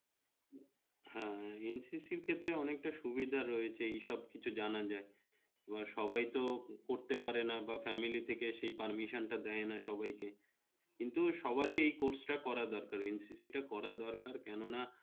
হ্যাঁ BNCC থেকে অনেকটা সুবিধা রয়েছে এই সব কিছু যানা যায়, বা সবাই তো করতে পারে না বা family থেকে সেই permission টা দেইনা সবাই কে, কিন্তু সবারই এই course টা করা দরকার BNCC তে পড়াদরকার কেন না